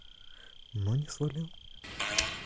но не свалил